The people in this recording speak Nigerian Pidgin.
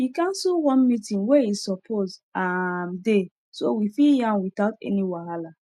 e cancel one meeting wey he suppose um dey so we fit yan without any wahala